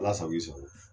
Ala sago i sago